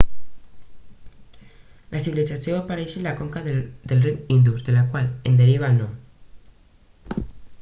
la civilització va aparèixer a la conca del riu indus del qual en deriva el nom